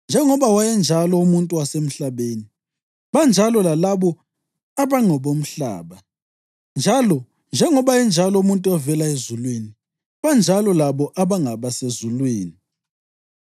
Njengoba wayenjalo umuntu wasemhlabeni, banjalo lalabo abangabomhlaba; njalo njengoba enjalo umuntu ovela ezulwini, banjalo labo abangabasezulwini.